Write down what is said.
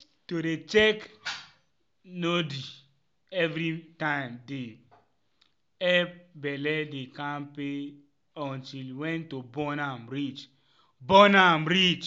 to dey check nody evrytimedey epp belle dey kampe until wen to born am reach. born am reach.